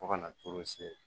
Fo ka na toro se